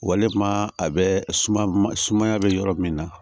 Waleman a bɛ suma sumaya bɛ yɔrɔ min na